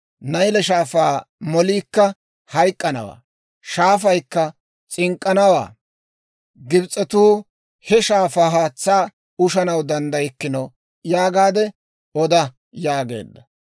Nayle Shaafaa moliikka hayk'k'anawaa; shaafaykka s'ink'k'anawaa; Gibs'etuu he shaafaa haatsaa ushanaw danddaykkino› yaagaade oda» yaageedda.